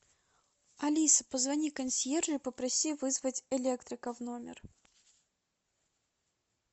алиса позвони консьержу и попроси вызвать электрика в номер